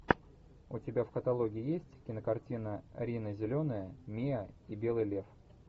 у тебя в каталоге есть кинокартина рина зеленая миа и белый лев